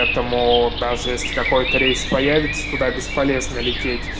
этому даже если какой-то рейс появится туда бесполезно лететь